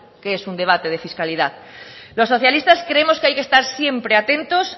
qué es un debate de fiscalidad los socialistas creemos que hay que estar siempre atentos